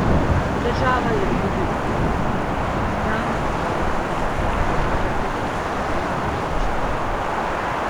Država je produkt, znamka pa je pri konkuriranju izjemen inštrument.